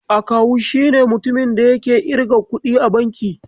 Akawu shine mutumin da yake irga kuɗi a banki.